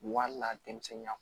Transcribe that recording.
Wali denmisɛnninya